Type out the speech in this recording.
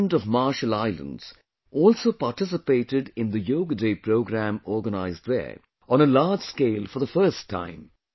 The President of Marshall Islands also participated in the Yoga Day program organized there on a large scale for the first time